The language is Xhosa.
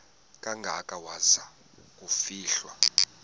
kangaka waza kufihlwa